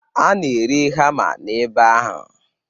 A na-ere hama n'ebe ahụ.